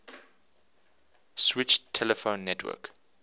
switched telephone network